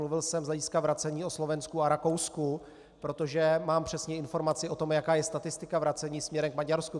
Mluvil jsem z hlediska vracení o Slovensku a Rakousku, protože mám přesně informaci o tom, jaká je statistika vracení směrem k Maďarsku.